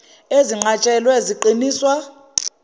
ezinqats helwe ziqiniswa